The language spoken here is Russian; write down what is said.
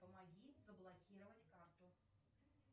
помоги заблокировать карту